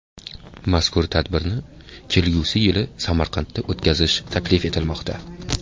Mazkur tadbirni kelgusi yili Samarqandda o‘tkazish taklif etilmoqda.